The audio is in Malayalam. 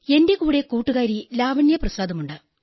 എന്റെ കൂടെ കൂട്ടുകാരി ലാവണ്യാ പ്രസാദുണ്ട്